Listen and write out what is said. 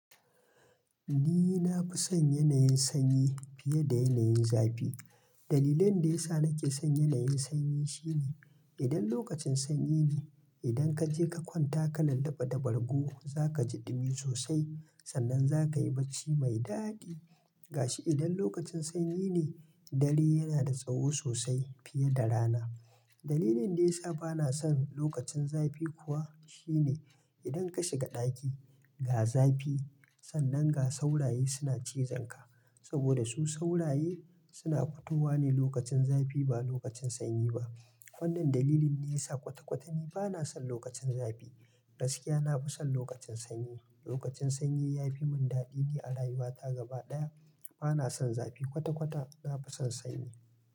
Ni na fi son yanayin sanyi fiye da yanayin zafi. Dalilin da ya sa nake son yanayin sanyi shine idan lokacin sanyi ne, idan ka je ka kwanta ka lalaba da bargo, za ka ji ɗumi sosai sannan za ka yi barci mai daɗi. Gashi idan lokacin sanyi ne, dare yana da tsaho sosai fiye da rana. Dalilin da ya sa ba na son lokacin zafi kuwa shine idan ka shiga ɗaki ga zafi sannan ga sauraye suna cizon ka. Saboda su sauraye suna fitowa ne lokacin zafi ba lokacin sanyi ba. Wannan dalilin ne ya sa kwata-kwata ni ba na son lokacin zafi. Gaskiya na fi son lokacin sanyi. Lokacin sanyi ya fi mun daɗi ne a rayuwa ta gaba ɗaya. Ba na son zafi kwata-kwata, na fi son sanyi.